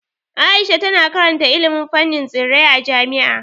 Aisha tana karanta ilimin fannin tsirrai a jami'a.